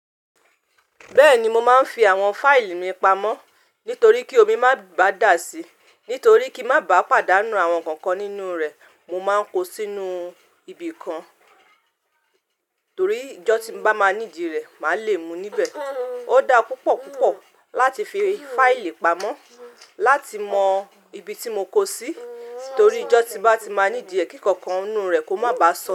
Bẹ́ẹ̀ni mo máa ń fi àwọn fáìlì mi pamọ́ nítorí kí omi má bá dà síi, nítorí kí n má bá pàdánù àwọn nǹkan kan nínú rè, mo máa ń kó sínú ibi kan torí ijọ́ tí n bá máa need rẹ, màá le mú níbẹ̀. Ó dá púpọ̀ púpọ̀ láti fi fáìlì pamọ́, láti mọ ibi tí mo kó sí torí ijọ́ tí n bá ti máa need ẹ kí nkan kan nínú rè kó má bá sọ.